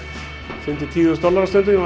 fimm til tíu þúsund dollara